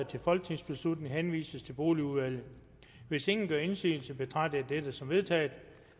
til folketingsbeslutning henvises til boligudvalget hvis ingen gør indsigelse betragter jeg dette som vedtaget